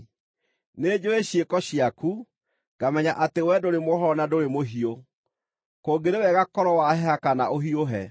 Nĩnjũũĩ ciĩko ciaku, ngamenya atĩ wee ndũrĩ mũhoro na ndũrĩ mũhiũ. Kũngĩrĩ wega korwo waheha kana ũhiũhe!